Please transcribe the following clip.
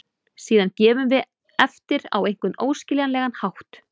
Síðan gefum við eftir á einhvern óskiljanlegan hátt.